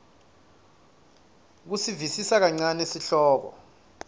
kusivisisa kancane sihloko